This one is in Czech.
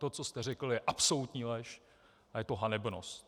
To, co jste řekl, je absolutní lež a je to hanebnost!